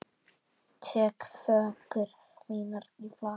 Tek föggur mínar í fatla.